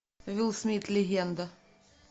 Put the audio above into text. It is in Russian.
уилл смит легенда